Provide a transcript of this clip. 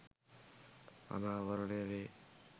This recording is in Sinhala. අනාවරණය වේ.